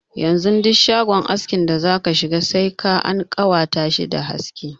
Yanzu duk shagon askin da zaka shiga sai ka an ƙawatar dashi da haske.